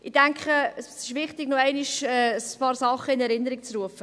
Ich denke, es ist wichtig, noch einmal ein paar Dinge in Erinnerung zu rufen.